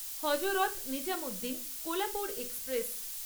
Hazrat Nizamuddin Kolhapur express